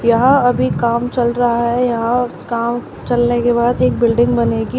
यहां अभी काम चल रहा है यहां काम चलने के बाद एक बिल्डिंग बनेगी।